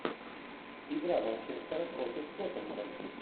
игра манчестера против тоттенхэм